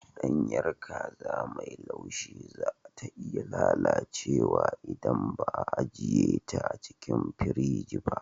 Ɗanyar kaza mai laushi za ta iya lalacewa idan ba a ajiye ta a cikin firji ba.